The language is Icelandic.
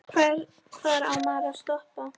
Hvar á maður að stoppa?